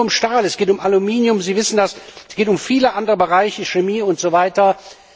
Es geht nicht nur um Stahl, es geht um Aluminium Sie wissen das es geht um viele andere Bereiche wie Chemie usw.